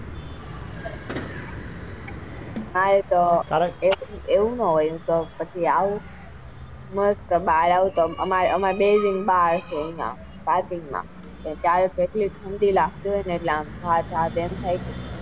હા એ તો એવું નાં હોય એમ તો પછી મસ્ત બાર આવું તો આવું આમ અમાર બેય ને બાર